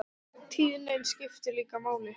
Tíðnin skiptir líka máli.